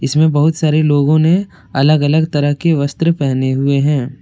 इसमे बहोत सारे लोगों ने अलग अलग तरह के वस्त्र पहने हुए हैं।